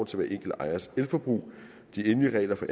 til hver enkelt ejers elforbrug de endelige regler for